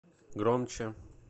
громче